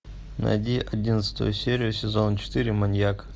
найди одиннадцатую серию сезона четыре маньяк